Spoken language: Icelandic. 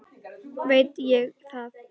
Veit ég það?